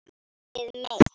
Elskið mitt!